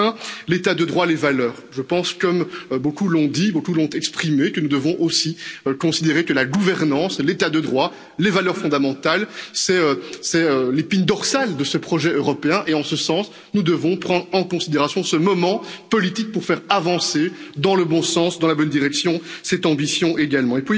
Enfin, l'état de droit et les valeurs. Je pense, comme beaucoup l'ont dit, beaucoup l'ont exprimé, que nous devons aussi considérer que la gouvernance, l'état de droit, les valeurs fondamentales, c'est l'épine dorsale de ce projet européen et, en ce sens, nous devons prendre en considération ce moment politique pour faire avancer dans la bonne direction cette ambition également.